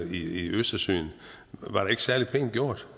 i østersøen det var da ikke særlig pænt gjort